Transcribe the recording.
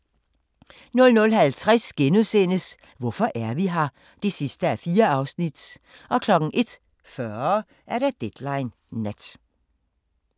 00:50: Hvorfor er vi her? (4:4)* 01:40: Deadline Nat